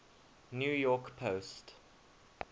new york post